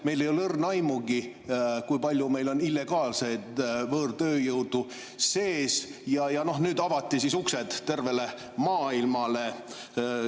Meil ei ole õrna aimugi, kui palju meil on illegaalset võõrtööjõudu sees, ja nüüd avati siis tervele maailmale.